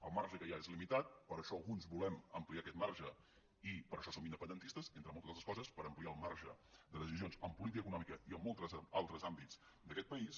el marge que hi ha és limitat i per això alguns volem ampliar aquest marge i per això som independentistes entre moltes altres coses per ampliar el marge de decisions en política econòmica i en molts altres àmbits d’aquest país